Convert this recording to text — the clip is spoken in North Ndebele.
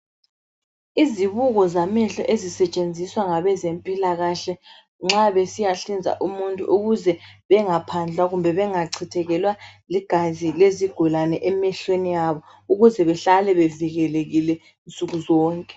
Izibuko zamehlo ezisetshenziswa ngabezempilakahle nxa besiyahlinza umuntu ukuze bengaphandlwa kumbe bengachithekelwa ligazi lezigulane emehlweni abo ukuze behlale bevikelekile nsukuzonke.